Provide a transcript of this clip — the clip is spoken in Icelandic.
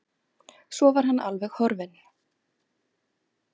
Svo var hann alveg horfinn.